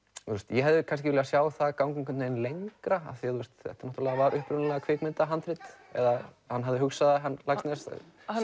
ég hefði kannski viljað sjá það ganga einhvern vegin lengra af því þetta var upprunalega kvikmyndahandrit eða hann hafði hugsað það hann Laxness hann